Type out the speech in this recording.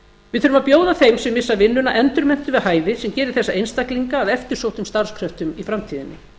við þurfum að bjóða þeim sem missa vinnuna endurmenntun við hæfi sem geri þessa einstaklinga að eftirsóttum starfskröftum í framtíðinni